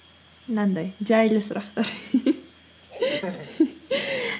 мынандай жайлы сұрақтар